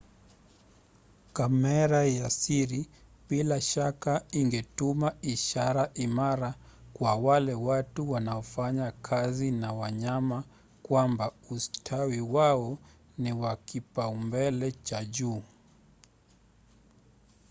"kamera ya siri bila shaka ingetuma ishara imara kwa wale watu wanaofanya kazi na wanyama kwamba ustawi wao ni wa kipaumbele cha juu.